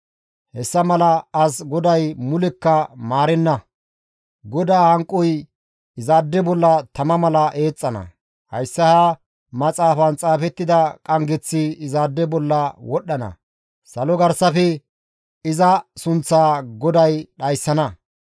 Hessa mala as GODAY mulekka maarenna; GODAA hanqoy izaade bolla tama mala eexxana; hayssa ha maxaafan xaafettida qanggeththi izaade bolla wodhdhana; salo garsafe iza sunththaa GODAY dhayssana.